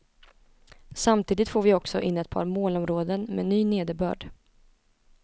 Samtidigt får vi också in ett par molnområden med ny nederbörd.